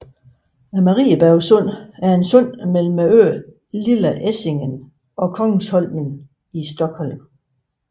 Mariebergssundet er et sund mellem øen Lilla Essingen og Kungsholmen i Stockholm